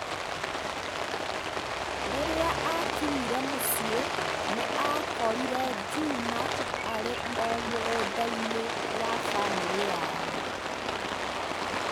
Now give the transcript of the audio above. Rĩrĩa aakinyire mũciĩ, nĩ aakorire Juma arĩ o mũgũnda-inĩ wa bamĩrĩ yao.